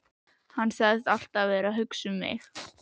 Hann sagðist alltaf vera að hugsa um mig.